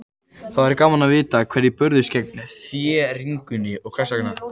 Það væri gaman að vita hverjir börðust gegn þéringunni og hvers vegna.